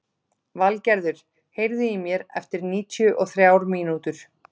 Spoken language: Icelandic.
Valgerður, heyrðu í mér eftir níutíu og þrjár mínútur.